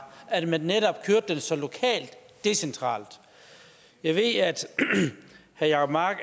at man netop kørte den så lokalt decentralt jeg ved at herre jacob mark